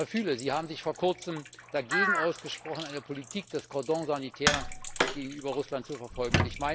Herr Füle, Sie haben sich vor kurzem dagegen ausgesprochen, eine Politik des Cordon sanitaire gegenüber Russland zu verfolgen.